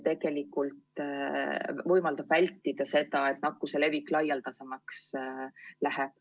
Tegelikult võimaldab see vältida seda, et nakkuse levik laialdasemaks läheb.